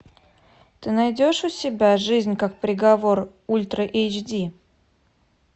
ты найдешь у себя жизнь как приговор ультра эйч ди